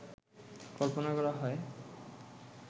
কল্পনা করা হয়